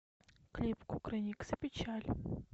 клип кукрыниксы печаль